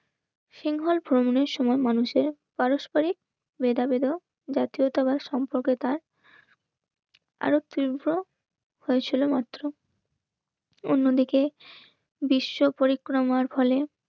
সিঙ্গুর ভ্রমণের সময় মানুষের পারস্পরিক ভেদাভেদও জাতীয়তাবাদ সম্পর্কে তার আরো তীব্র হয়েছিল মাত্র. অন্যদিকে বিশ্ব পরিক্রমার ফলে